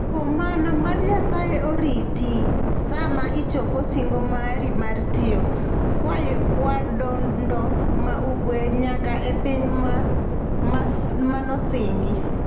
Kuom mano, mad Nyasaye oriti sama ichopo singo mari mar tayo Kyadondo ma Ugwe nyaka e Piny Manosingi.